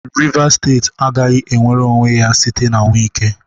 Rivas steeti agaghị enwere onwe ya site n'aka Wike.